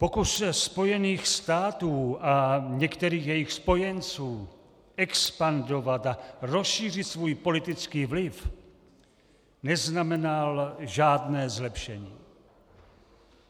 Pokusy Spojených států a některých jejich spojenců expandovat a rozšířit svůj politický vliv neznamenaly žádné zlepšení.